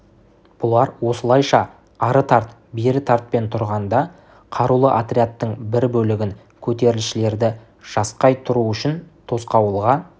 бұлар осылайша ары тарт бері тартпен тұрғанда қарулы отрядтың бір бөлігін көтерілісшілерді жасқай тұру үшін тосқауылға